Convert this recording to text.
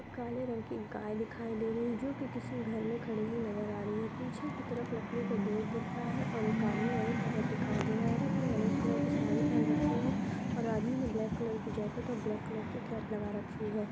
एक काले रंग की गाय दिखाई दे रही है जो कि किसी घर में खड़ी हुई नजर आ रही है। पीछे की तरफ लकड़ी का गेट दिख रहा है और एक आदमी और एक औरत दिखाई दे रहा है। औरत ने ऑरेंज कलर की साड़ी पहन रखी है और आदमी ने ब्लैक कलर की जैकेट और ब्लैक कलर की कैप लगा रखी है।